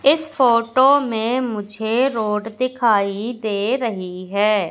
इस फोटो में मुझे रोड दिखाई दे रही है।